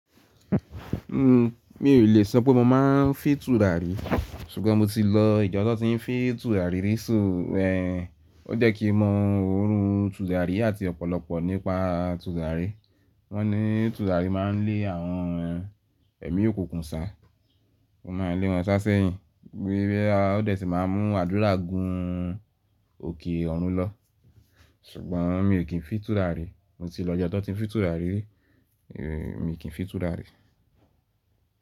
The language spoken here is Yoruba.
Uhm, mi ò lè sọ pé mo máa ń fì tùràrí, ṣùgbọ́n mo ti lọ ìjọ tọ́ ti ń fì tùràrí rí. Só, ẹ́, o jẹ́ kí mo mọ òórun tùràrí àti ọ̀pọ̀lọpọ̀ nípa tùràrí. Wọ́n ní tùràrí máa ń lé àwọn ẹ̀mí òkùnkùn sá, ó máa ń lé wọn ṣásẹ́yìn, bí ẹ́, ó lè sì máa mú àdúrà gún òkè ọ̀run lọ. Ṣùgbọ́n mi ò kí ń fì tùràrí, mo ti lọ ìjọ tó fi tùràrí rí, èmi mi kì í fì tùràrí.